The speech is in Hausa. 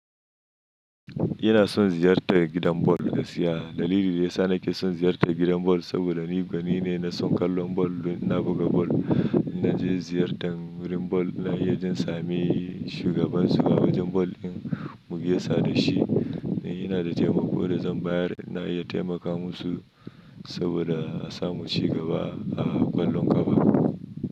Ina son ziyartar gidan ball gaskiya. Dalilin da ya sa nake son ziyartar gidan ball saboda ni gwanine na son kallon ball. Na buga ball. In naje ziyartar wurin ball, ina iya jin sami shugabansu a wajen ball ɗin mu gaisa da shi. In yana da taimako da zan bayar, na iya taimakawa musu saboda a samu ci gaba a ƙwallon ƙafa.